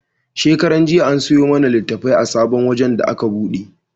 Shekaran jiya an siyo mana litattafai a sabon wajen da aka buɗe.